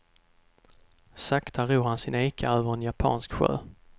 Sakta ror han sin eka över en japansk sjö.